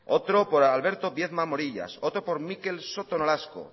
otro por alberto viedma morillas otro por mikel soto nolasco